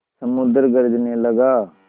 समुद्र गरजने लगा